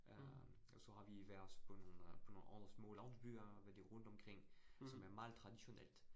Øh og så har vi været på nogle øh på nogle andre små landsbyer hvad det rundt omkring, som er meget traditionelt